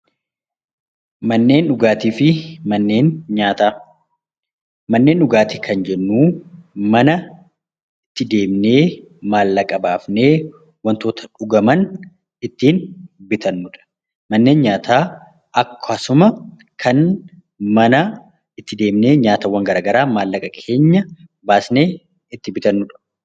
Manneen dhugaatii kan jennu mana deemnee maallaqa baasnee wantoota dhugaman ittiin bitannudha. Manneen nyaataa mana nyaata garaagaraa maallaqa baasnee itti bitannudha